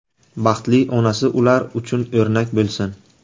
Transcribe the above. Baxtli onasi ular uchun o‘rnak bo‘lsin.